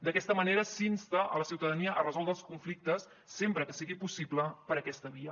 d’aquesta manera s’insta a la ciutadania a resoldre els conflictes sempre que sigui possible per aquesta via